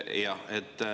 Jah.